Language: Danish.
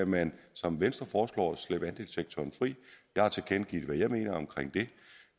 man som venstre foreslår skal slippe andelssektoren fri jeg har tilkendegivet hvad jeg mener om det